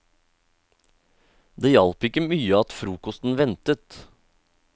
Det hjalp ikke mye at frokosten ventet.